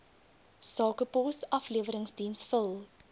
sakepos afleweringsdiens vul